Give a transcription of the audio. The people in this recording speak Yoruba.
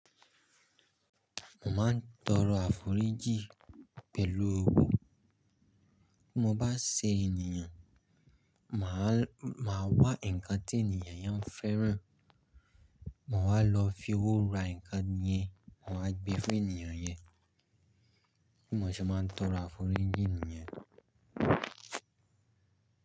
Mo máa ń tọrọ àforíjì pẹ̀lú owó. Bí mo bá ṣe ènìyàn, màá wá ǹkan tí ènìyàn yẹn ń fẹ́ràn. Mo máa lọ fi owó ra ǹkan yẹn, mo máa gbé fún ènìyàn yẹn. Bí mo ṣe máa ń tọrọ àforíjì nìyen.